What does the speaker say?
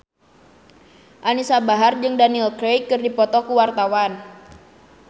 Anisa Bahar jeung Daniel Craig keur dipoto ku wartawan